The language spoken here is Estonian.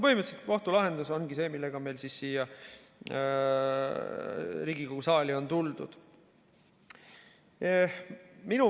Põhimõtteliselt kohtu lahendus ongi see, millega siia Riigikogu saali on tuldud.